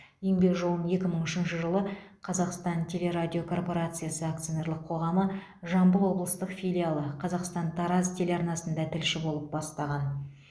еңбек жолын екі мың үшінші жылы қазақстан телерадиокорпорациясы акционерлік қоғамы жамбыл облыстық филиалы қазақстан тараз телеарнасында тілші болып бастаған